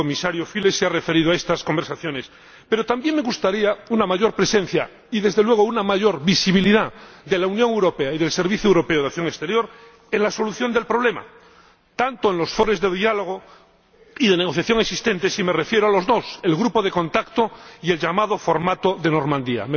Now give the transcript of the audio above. El comisario Füle se ha referido a estas conversaciones, pero también me gustaría una mayor presencia y desde luego una mayor visibilidad de la Unión Europea y del Servicio Europeo de Acción Exterior en la solución del problema en los foros de diálogo y de negociación, y me refiero a los dos existentes el Grupo de contacto y el denominado formato de Normandía.